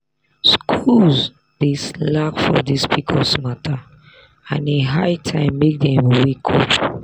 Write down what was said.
schools dey slack for this pcos matter and e high time make dem wake up.